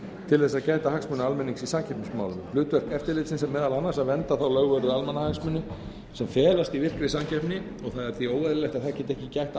til að gæta hagsmuna almennings í samkeppnismálum hlutverk eftirlitsins er meðal annars að vernda þá lögvörðu almannahagsmuni sem felast í virkri samkeppni og það er því óeðlilegt að það geti ekki gætt